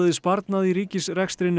sparnað í ríkisrekstri